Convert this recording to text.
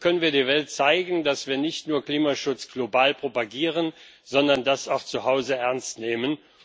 So können wir der Welt zeigen, dass wir nicht nur Klimaschutz global propagieren, sondern auch zu Hause ernst nehmen.